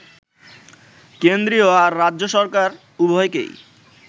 কেন্দ্রীয় আর রাজ্য সরকার, উভয়কেই